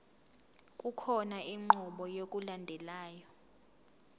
kukhona inqubo yokulandelayo